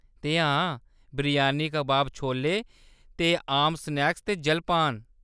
ते हां, बिरयानी, कबाब, छोले ते आम स्नैक्स ते जलपान।